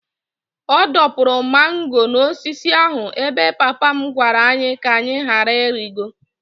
Ọ dọpụrụ mango n'osisi ahụ ebe papa m gwara anyị ka anyị ghara ịrịgo.